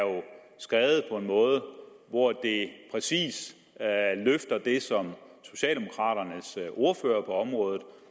skrevet på en måde hvor det præcis løfter det som socialdemokraternes ordfører på området